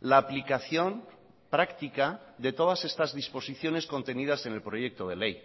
la aplicación práctica de todas estas disposiciones contenidas en el proyecto de ley